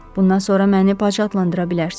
Bundan sonra məni bacı adlandıra bilərsiz.